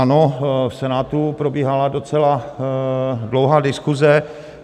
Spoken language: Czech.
Ano, v Senátu probíhala docela dlouhá diskuse.